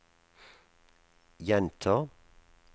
gjenta